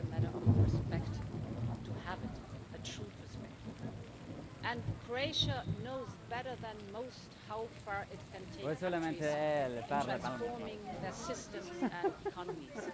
It's a matter of perspective to have it, a true perspective, and Croatia knows better than most how far it can take countries in transforming their systems and economies.